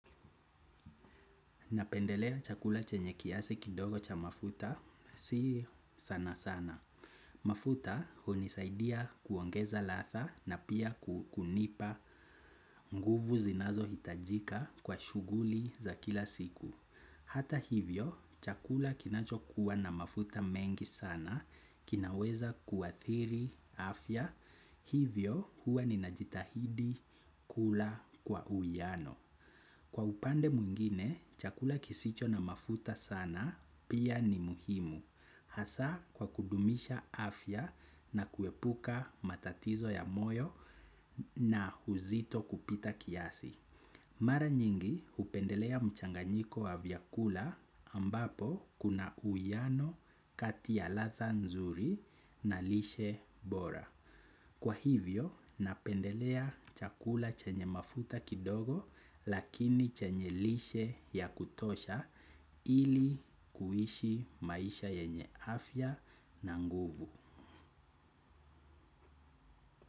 Napendelea chakula chenye kiasi kidogo cha mafuta, si sana sana. Mafuta hunisaidia kuongeza latha na pia kunipa nguvu zinazo hitajika kwa shuguli za kila siku. Hata hivyo, chakula kinacho kuwa na mafuta mengi sana, kinaweza kuathiri, afya, hivyo huwa ni najitahidi kula kwa uwiano. Kwa upande mwingine, chakula kisicho na mafuta sana pia ni muhimu, hasa kwa kudumisha afya na kuepuka matatizo ya moyo na uzito kupita kiasi. Mara nyingi hupendelea mchanganyiko wa vyakula ambapo kuna uwiano kati ya latha nzuri na lishe bora. Kwa hivyo, napendelea chakula chenye mafuta kidogo lakini chenye lishe ya kutosha ili kuhishi maisha yenye afya na nguvu.